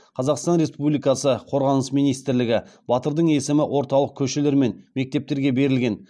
қазақстан республикасы қорғаныс министрлігі батырдың есімі орталық көшелер мен мектептерге берілген